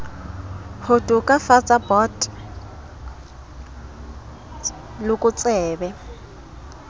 ho to kafatsa bot lokotsebe